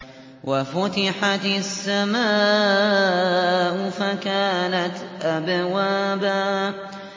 وَفُتِحَتِ السَّمَاءُ فَكَانَتْ أَبْوَابًا